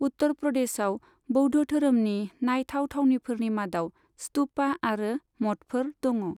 उत्तर प्रदेशाव बौद्ध धोरोमनि नायथाव थावनिफोरनि मादाव स्तुपा आरो मठफोर दङ।